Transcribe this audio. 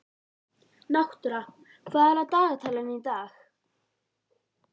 Náttúra, hvað er á dagatalinu í dag?